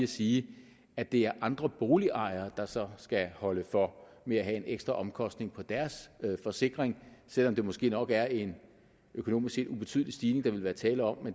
sige at det er andre boligejere der så skal holde for ved at have en ekstra omkostning på deres forsikring selv om det måske nok er en økonomisk set ubetydelig stigning der ville være tale om